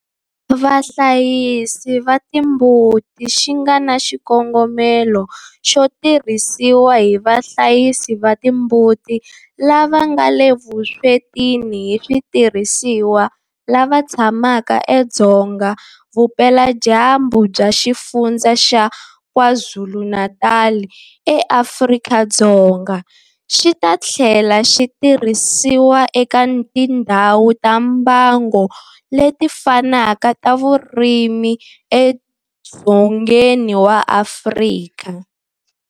Vahlayisi va timbuti xi nga na xikongomelo xo tirhisiwa hi vahlayisi va timbuti lava nga le vuswetini hi switirhisiwa lava tshamaka edzonga vupeladyambu bya Xifundzha xa KwaZulu-Natal eAfrika-Dzonga, xi ta tlhela xi tirhisiwa eka tindhawu ta mbango leti fanaka ta vurimi edzongeni wa Afrika.